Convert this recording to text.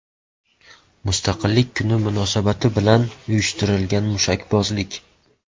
Mustaqillik kuni munosabati bilan uyushtirilgan mushakbozlik.